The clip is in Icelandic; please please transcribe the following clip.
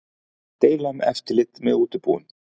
Deila um eftirlit með útibúum